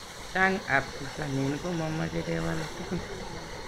Chang ab pitanin ko mamache kewal tugun